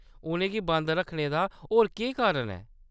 उʼनें गी बंद रक्खने दा होर केह्‌‌ कारण ऐ !